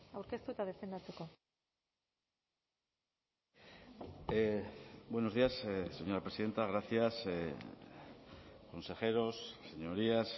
aurkeztu eta defendatzeko buenos días señora presidenta gracias consejeros señorías